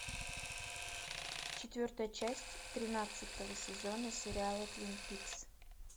четвертая часть тринадцатого сезона сериала твин пикс